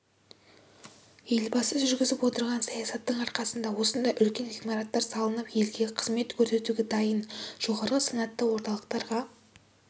елбасы жүргізіп отырған саясаттың арқасында осындай үлкен ғимараттар салынып елге қызмет көрсетуге дайын жоғары санатты орталықтарға